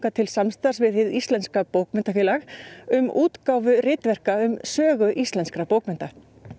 til samstarfs við Hið íslenska bókmenntafélag um útgáfu ritverka um sögu íslenskra bókmennta